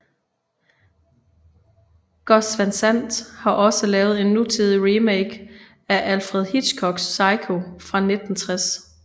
Gus Van Sant har også lavet en nutidig remake af Alfred Hitchcocks Psycho fra 1960